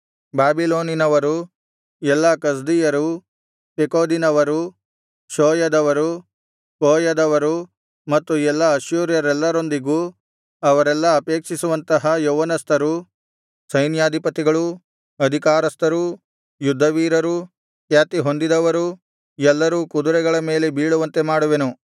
ಬಾಬಿಲೋನಿನವರು ಎಲ್ಲಾ ಕಸ್ದೀಯರು ಪೆಕೋದಿನವರು ಷೋಯದವರು ಕೋಯದವರು ಮತ್ತು ಎಲ್ಲಾ ಅಶ್ಶೂರ್ಯರೆಲ್ಲರೊಂದಿಗೂ ಅವರೆಲ್ಲಾ ಅಪೇಕ್ಷಿಸುವಂತಹ ಯೌವನಸ್ಥರೂ ಸೈನ್ಯಾಧಿಪತಿಗಳೂ ಅಧಿಕಾರಸ್ಥರೂ ಯುದ್ಧವೀರರು ಖ್ಯಾತಿ ಹೊಂದಿದವರೂ ಎಲ್ಲರೂ ಕುದರೆಗಳ ಮೇಲೆ ಬೀಳುವಂತೆ ಮಾಡುವೆನು